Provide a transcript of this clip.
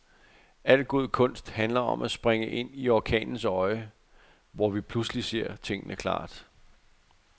Al god kunst handler om at springe ind i orkanens øje, hvor vi pludselig ser tingene klart.